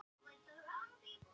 Yfirborð Miðjarðarhafsins hækkar